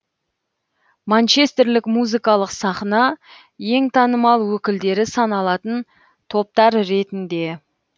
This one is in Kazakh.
манчестерлік музыкалық сахна ең танымал өкілдері саналатын топтар ретінде